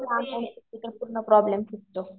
मग त्यामुळे अकाउंटचा खूप व्यक्तींना प्रॉब्लेम असतो.